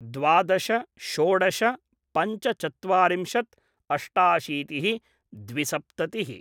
द्वादश षोडश पञ्चचत्वारिंशत् अष्टाशीति: द्विसप्तति: